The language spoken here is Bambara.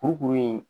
Kurukuru in